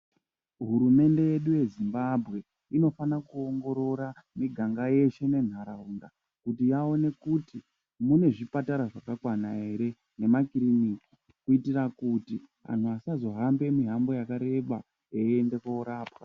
Hurumende yedu yeZimbabwe inofanira kuwongorora miganga yeshe munharawunda kuti vaone kuti munezvipatara zvakakwana here, nemakirinika kuitira kuti anhu vasazohambe mimango yakareba veyende korapwa.